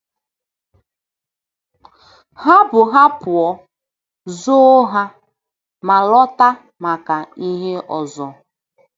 Ha bu ha pụọ, zoo ha, ma lọta maka ihe ọzọ.